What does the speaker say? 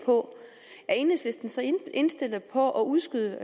på er enhedslisten så indstillet på at udskyde